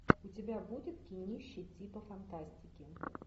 у тебя будет кинище типа фантастики